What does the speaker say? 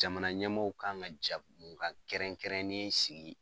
Jamana ɲɛmaaw kan ka jɛmukan kɛrɛnkɛrɛnnen sigi